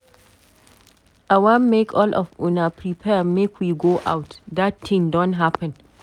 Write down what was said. I wan make all of una prepare make we go out. Dat thing don happen.